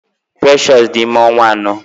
Precious dị ime ọnwa anọ.